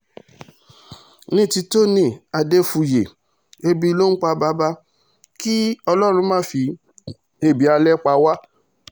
ní ti tony adéfúye ẹbí ló ń pa bàbá kí ọlọ́run má fi ẹbí alẹ́ pa wá